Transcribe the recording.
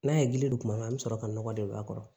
N'a ye gili don kuma min an bɛ sɔrɔ ka nɔgɔ de don a kɔrɔ